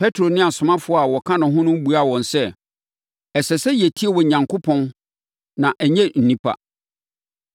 Petro ne asomafoɔ a wɔka ne ho no buaa wɔn sɛ, “Ɛsɛ sɛ yɛtie Onyankopɔn na ɛnyɛ nnipa,